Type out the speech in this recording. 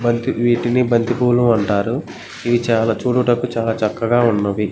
బంతి వీటిని బంతిపూలు అంటారు. ఇవి చాలా చూడటానికి చాలా చక్కగా ఉన్నవి.